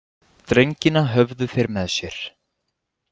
Drengina höfðu þeir með sér.